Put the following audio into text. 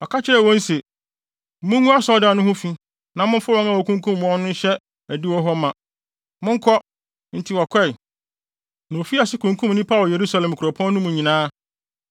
Ɔka kyerɛɛ wɔn se, “Mungu asɔredan no ho fi na momfa wɔn a wɔakunkum wɔn no nhyɛ adiwo hɔ ma. Monkɔ!” Enti wɔkɔe, na wofii ase kunkum nnipa wɔ Yerusalem kuropɔn no mu nyinaa.